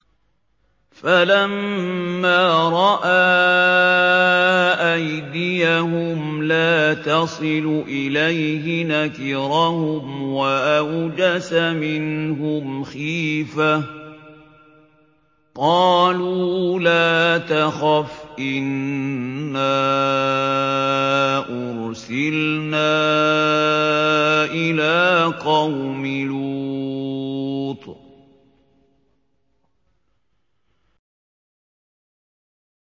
فَلَمَّا رَأَىٰ أَيْدِيَهُمْ لَا تَصِلُ إِلَيْهِ نَكِرَهُمْ وَأَوْجَسَ مِنْهُمْ خِيفَةً ۚ قَالُوا لَا تَخَفْ إِنَّا أُرْسِلْنَا إِلَىٰ قَوْمِ لُوطٍ